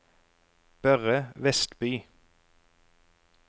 Børre Westby